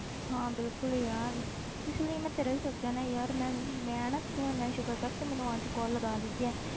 ਹਾਂ ਬਿਲਕੁਲ ਯਾਰ ਇਸ ਲਈ ਮੈਂ ਤੇਰਾ ਵੀ ਸੋਚਿਆ ਨਾ ਯਾਰ ਮੈਂ ਮੈਂ ਨਾ ਤੂੰ ਇੰਨਾ ਸ਼ੁਕਰ ਕਰ ਤੂੰ ਮੈਨੂੰ ਅੱਜ call ਲਗਾ ਦਿੱਤੀ ਆ